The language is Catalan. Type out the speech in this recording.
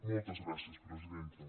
moltes gràcies presidenta